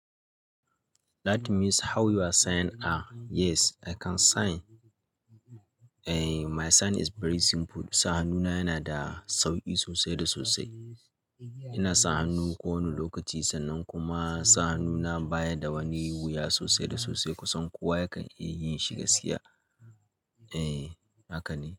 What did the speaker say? That means how you are sign are yes, I can sign. Eh, my sign is very simple. Sa hannuna yana da sauƙi sosai da sosai. Ina sa hannu ko wani lokaci sannan kuma sa hannuna baya da wani wuya sosai da sosai kusan kowa yakan iya yin shi gaskiya. Eh, haka ne.